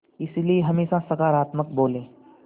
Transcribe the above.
इसलिए हमेशा सकारात्मक बोलें